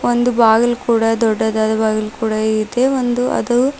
ಒಂದು ಬಾಗಿಲ್ ಕೂಡ ದೊಡ್ಡದಾದ ಬಾಗಿಲು ಕೂಡ ಇದೆ ಒಂದು ಅದು--